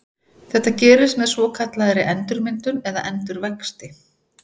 Þetta gerist með svokallaðri endurmyndun eða endurvexti.